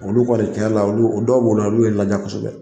Olu kɔni tiɲɛ yɛrɛ la olu o dɔw b'o la olu ye n ladiya kosɛbɛ